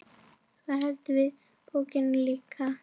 Svo seldum við bókina líka.